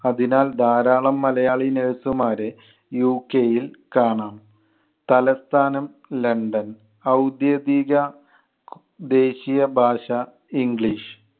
അതിനാൽ ധാരാളം മലയാളി nurse മാരെ UK യിൽ കാണാം. തലസ്ഥാനം ലണ്ടൻ. ഔദ്യോഗിക ദേശീയ ഭാഷ english.